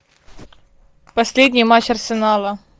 последний матч арсенала